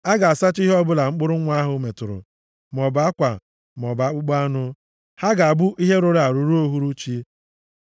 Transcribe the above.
A ga-asacha ihe ọbụla mkpụrụ nwa ahụ metụrụ, maọbụ akwa maọbụ akpụkpọ anụ. Ha ga-abụ ihe rụrụ arụ ruo uhuruchi.